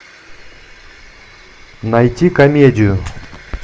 найти комедию